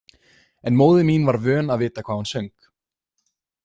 En móðir mín var vön að vita hvað hún söng.